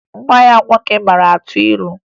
Nwa ya nwoke mara atụ ilu